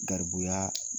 Garibuya